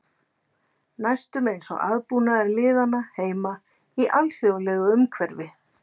Næstum eins og aðbúnaður liðanna heima í alþjóðlegu umhverfi.